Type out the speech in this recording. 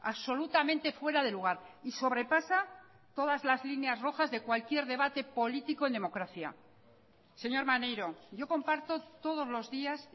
absolutamente fuera de lugar y sobrepasa todas las líneas rojas de cualquier debate político en democracia señor maneiro yo comparto todos los días